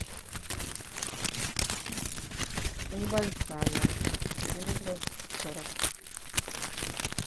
небольшая сантиметров сорок